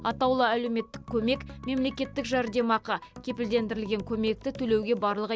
атаулы әлеуметтік көмек мемлекеттік жәрдемақы кепілдендірілген көмекті төлеуге барлығы